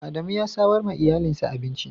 Adamu ya samar wa iyalinsa abinci.